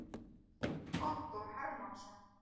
Halldór Hermannsson.